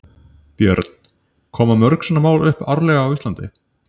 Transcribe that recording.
Björn: Koma mörg svona mál upp árlega á Íslandi?